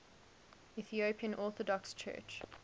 ethiopian orthodox church